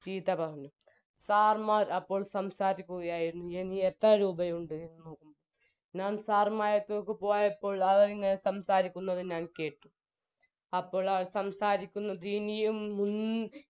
ചീത്ത പറഞ്ഞു sir മ്മാര് അപ്പോൾ സംസാരിക്കുകയായിരുന്നു ഇനി എത്രരൂപയുണ്ട് എന്ന് ഞാൻ sir മ്മരടുത്തേക്ക് പോയപ്പോൾ അവരിങ്ങനെ സംസാരിക്കുന്നത് ഞാൻ കേട്ടു